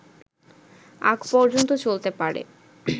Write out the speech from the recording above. আগ পর্যন্ত চলতে পারে